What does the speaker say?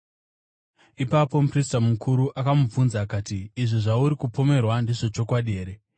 Ipapo muprista mukuru akamubvunza akati, “Izvi zvauri kupomerwa ndezvechokwadi here?”